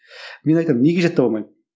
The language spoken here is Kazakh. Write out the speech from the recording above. мен айтамын неге жаттап алмаймын